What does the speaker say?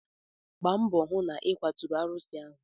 Gba mbọ hụ na ịkwaturu arụsị ahụ!